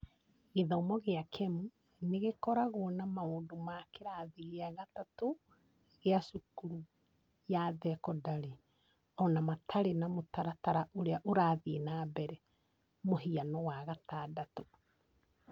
Gĩthomo gĩa kemu nĩ gĩkoragwo na maũndũ ma kĩrathi gĩa gatatũ gĩa cukuru ya thekondarĩ, o na matarĩ na mũtaratara ũrĩa ũrathiĩ na mbere (mũhiano wa gatandatũ)